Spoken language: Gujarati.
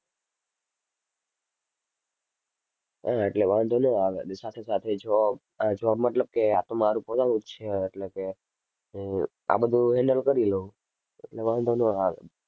હા એટલે વાંધો ન આવે અને સાથે સાથે job અમ job મતલબ કે આ તો મારુ પોતાનું જ છે એટલે કે અર આ બધુ handle કરી લઉં એટલે વાંધો ન આવે.